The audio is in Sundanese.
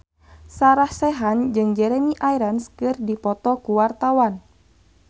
Sarah Sechan jeung Jeremy Irons keur dipoto ku wartawan